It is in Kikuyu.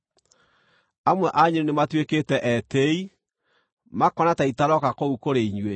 Amwe anyu nĩmatuĩkĩte etĩĩi, makona ta itarooka kũu kũrĩ inyuĩ.